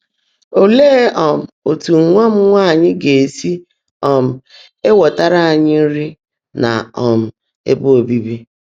Óleé um ótú nwá m nwáanyị́ gá-èsi um énweètaárá ányị́ nri nà um ébè óbiibì?